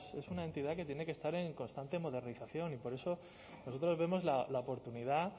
es una entidad que tiene que estar en constante modernización y por eso nosotros vemos la oportunidad